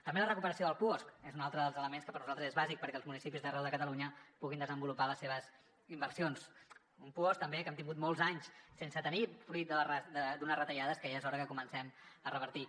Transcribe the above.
també la recuperació del puosc és un altre dels elements que per nosaltres és bàsic perquè els municipis d’arreu de catalunya puguin desenvolupar les seves inversions un puosc també que hem tingut molts anys sense tenir fruit d’unes retallades que ja és hora que comencem a revertir